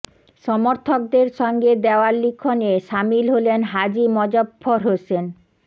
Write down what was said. সমর্থকদের সঙ্গে দেওয়াল লিখনে সামিল হলেন হাজী মজফফর হোসেন